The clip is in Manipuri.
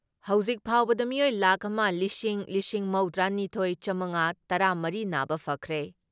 ꯍꯧꯖꯤꯛ ꯐꯥꯎꯕꯗ ꯃꯤꯑꯣꯏ ꯂꯥꯈ ꯑꯃ ꯂꯤꯁꯤꯡ ꯂꯤꯁꯤꯡ ꯃꯧꯗ꯭ꯔꯥ ꯅꯤꯊꯣꯏ ꯆꯥꯝꯉꯥ ꯇꯔꯥ ꯃꯔꯤ ꯅꯥꯕ ꯐꯈ꯭ꯔꯦ ꯫